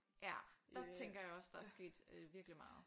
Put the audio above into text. Ja der tænker jeg også der er sket øh virkelig meget